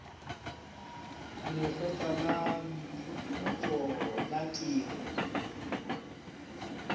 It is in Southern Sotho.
lekgotla la diphuputso la temo